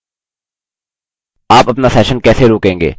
आप अपना session कैसे रोकेंगे